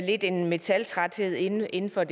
lidt en metaltræthed inden inden for